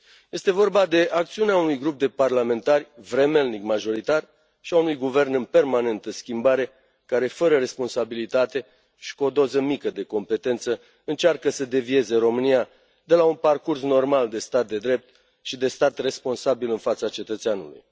Este vorba de acțiunea unui grup de parlamentari vremelnic majoritar și a unui guvern în permanentă schimbare, care, fără responsabilitate și cu o doză mică de competență, încearcă să devieze România de la un parcurs normal de stat de drept și de stat responsabil în fața cetățeanului.